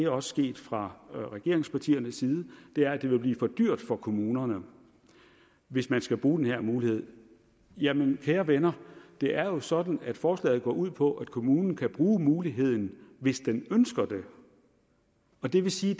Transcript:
også sket fra regeringspartiernes side er at det vil blive for dyrt for kommunerne hvis man skal bruge den her mulighed jamen kære venner det er jo sådan at forslaget går ud på at kommunen kan bruge muligheden hvis den ønsker det og det vil sige